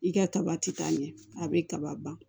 I ka kaba ti ka ɲɛ a bɛ kaba ban